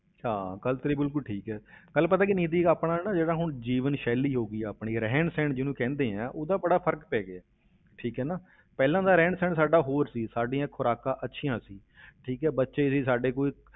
ਹਾਂ ਗੱਲ ਤੇਰੀ ਬਿਲਕੁਲ ਠੀਕ ਹੈ, ਗੱਲ ਪਤਾ ਕੀ ਨਿੱਧੀ ਆਪਣਾ ਨਾ ਜਿਹੜਾ ਹੁਣ ਜੀਵਨ ਸ਼ੈਲੀ ਹੋ ਗਈ ਆ ਆਪਣੀ, ਰਹਿਣ ਸਹਿਣ ਜਿਹਨੂੰ ਕਹਿੰਦੇ ਆ ਉਹਦਾ ਬੜਾ ਫ਼ਰਕ ਪੈ ਗਿਆ, ਠੀਕ ਹੈ ਨਾ, ਪਹਿਲਾਂ ਦਾ ਰਹਿਣ ਸਹਿਣ ਸਾਡਾ ਹੋਰ ਸੀ, ਸਾਡੀਆਂ ਖ਼ੁਰਾਕਾਂ ਅੱਛੀਆਂ ਸੀ ਠੀਕ ਹੈ ਬੱਚੇ ਸੀ ਸਾਡੇ ਕੋਈ